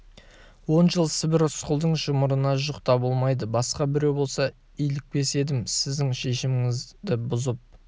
он жыл сібір рысқұлдың жұмырына жұқ та болмайды басқа біреу болса илікпес едім сіздің шешіміңізді бұзып